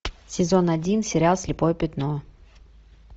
сезон один сериал слепое пятно